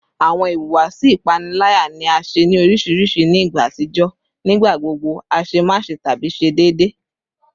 Awọn ihuwasi ipanilaya ni a ṣe ni oriṣiriṣi ni igba atijọ, nigbagbogbo aṣemáṣe tabi ṣe deede